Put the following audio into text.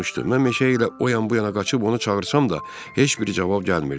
Mən meşə ilə o yan-bu yana qaçıb onu çağırsam da, heç bir cavab gəlmirdi.